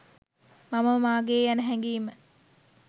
මමය මාගේ ය යන හැඟීම